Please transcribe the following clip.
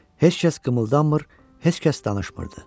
Heç kəs qımıldanmır, heç kəs danışmırdı.